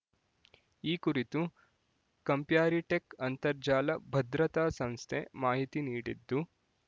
ಈ ಕುರಿತು ಕಂಪ್ಯಾರಿಟೆಕ್ ಅಂತರ್ಜಾಲ ಭದ್ರತಾಸಂಸ್ಥೆ ಮಾಹಿತಿ ನೀಡಿದ್ದು